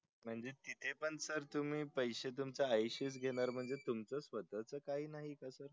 म्हणजे तिथे पण sir तुम्ही पैसे तुमच्या आई शी च घेणार म्हणजे तुम्हच स्वतःच काही नाही का sir